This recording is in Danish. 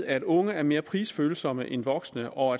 at unge er mere prisfølsomme end voksne og